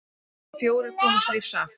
Fjórir komust lífs af.